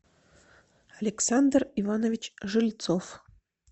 александр иванович жильцов